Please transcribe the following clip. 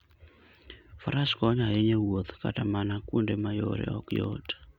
Faras konyo ahinya e wuoth kata mana kuonde ma yore ok yot.